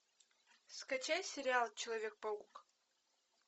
скачай сериал человек паук